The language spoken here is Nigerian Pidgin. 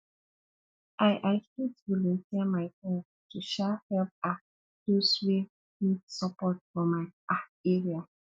i i fit volunteer my time to um help um those wey need support for my um area